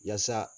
Yaasa